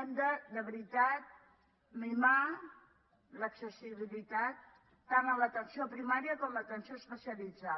hem de veritat de mimar l’accessibilitat tant a l’atenció primària com a l’atenció especialitzada